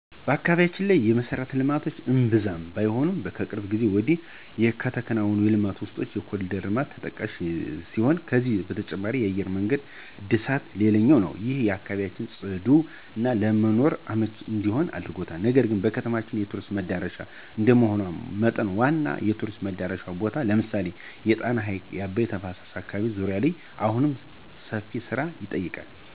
በአካባቢያችን የመሠረተ ልማቶች እምብዛም ባይሆኑም ከቅርብ ጊዜ ወዲህ ከተከናወኑ ልማቶች ውስጥ የኮርዲር ልማት ተጠቃሹ ሲሆን ከዚህ በተጨማሪ የአየር መንገድ እድሳት ሌላኛው ነው። ይህም አካባቢያችን ፅዱና ለመኖር አመቺ እንዲሆን አድርጎታል። ነገር ግን ከተማችን የቱሪስት መዳረሻ እንደመሆኗ መጠን ዋና ዋና የቱሪስት መዳረሻ ቦታዎች ላይ ለምሳሌ የጣና ሀይቅና አባይ ተፋሰስ አካባቢዎች ዙሪያ አሁንም ሰፊ ስራን ይጠይቃል።